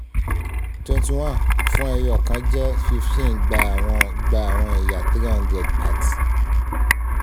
twenty one fun ẹyọkan je fifteen gba awọn gba awọn ẹya three hundred at